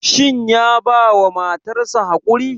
Shin ya bawa matar sa haƙuri?